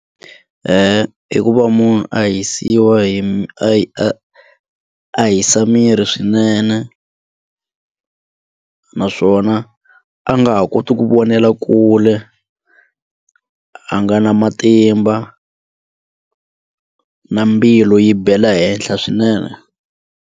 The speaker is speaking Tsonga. I ku va munhu a hisiwa hi a a hisa miri swinene naswona a nga ha koti ku vonela kule a nga na matimba na mbilu yi bela ehenhla swinene.